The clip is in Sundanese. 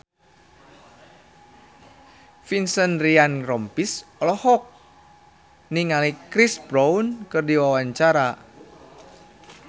Vincent Ryan Rompies olohok ningali Chris Brown keur diwawancara